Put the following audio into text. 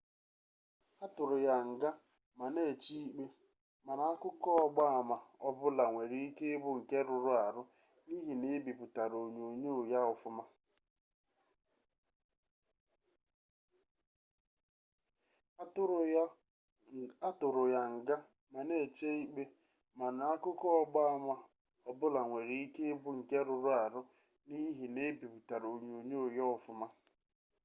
atụrụ ya nga ma na-eche ikpe mana akụkọ ọgba ama ọbụla nwere ike ịbụ nke rụrụ arụ n'ihi na ebipụtara onyonyo ya ọfụma